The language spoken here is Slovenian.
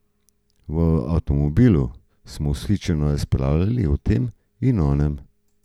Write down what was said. V avtomobilu smo vzhičeno razpravljali o tem in onem.